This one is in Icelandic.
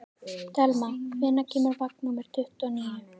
Telma, hvenær kemur vagn númer tuttugu og níu?